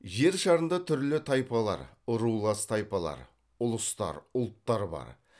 жер шарында түрлі тайпалар рулас тайпалар ұлыстар ұлттар бар